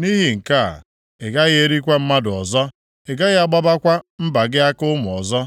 Nʼihi nke a, ị gaghị erikwa mmadụ ọzọ. Ị gaghị agbawakwa mba gị aka ụmụ ọzọ.